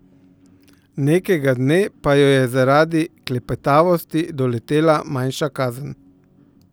Nekega dne pa jo je zaradi klepetavosti doletela manjša kazen.